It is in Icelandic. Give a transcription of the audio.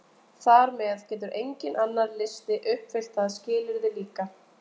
Þar með getur enginn annar listi uppfyllt það skilyrði líka!